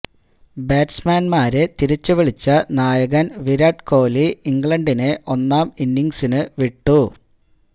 ബാറ്റ്സ്മാന്മാരെ തിരിച്ചുവിളിച്ച നായകന് വിരാട് കോഹ്ലി ഇംഗ്ലണ്ടിനെ രണ്ടാം ഇന്നിംഗ്സിനു വിട്ടു